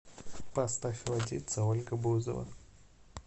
поставь водица ольга бузова